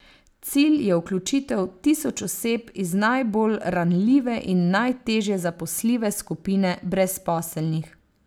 Cilj je vključitev tisoč oseb iz najbolj ranljive in najtežje zaposljive skupine brezposelnih.